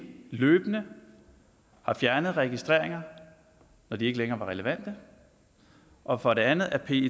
løbende har fjernet registreringer når de ikke længere var relevante og for det andet at pet